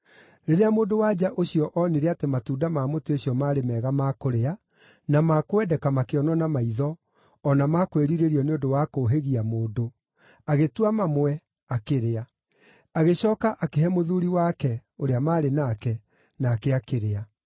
Rĩrĩa mũndũ-wa-nja ũcio onire atĩ matunda ma mũtĩ ũcio maarĩ mega ma kũrĩa, na ma kwendeka makĩonwo na maitho, o na ma kwĩrirĩrio nĩ ũndũ wa kũũhĩgia mũndũ, agĩtua mamwe, akĩrĩa. Agĩcooka akĩhe mũthuuri wake, ũrĩa maarĩ nake, nake akĩrĩa.